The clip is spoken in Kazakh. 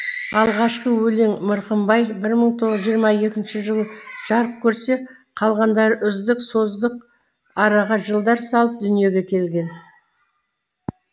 алғашқы өлең мырқымбай бір мың тоғыз жүз тоқсан екінші жылы жарық көрсе қалғандары үздік создық араға жылдар салып дүниеге келген